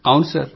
అవును సర్